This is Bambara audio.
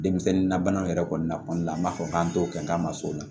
Denmisɛnnin na banaw yɛrɛ kɔni na kɔni an b'a fɔ k'an t'o kɛ k'an ma s'o la